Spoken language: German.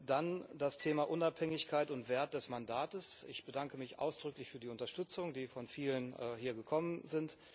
Dann das Thema Unabhängigkeit und Wert des Mandates Ich bedanke mich ausdrücklich für die Unterstützung, die von vielen hier gekommen ist.